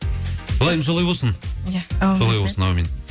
ылайым солай болсын ия аумин солай болсын аумин